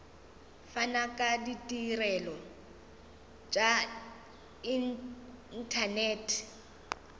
fana ka ditirelo tša inthanete